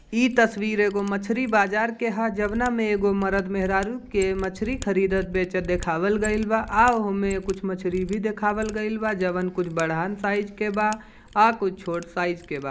इ तस्वीर एगो मछली बाजार के हअ जाउना में एगो मर्द मेहरारू के मछली खड़ीदत बेचत देखावल गइल बा आ उ मे कुछ मछली भी देखावल गइल बा जवन कुछ बढ़ान साइज के बा आ कुछ छोट साइज के बा।